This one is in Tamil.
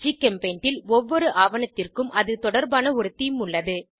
ஜிகெம்பெய்ண்ட் ல் ஒவ்வொரு ஆவணத்திற்கும் அது தொடர்பான ஒரு தேமே உள்ளது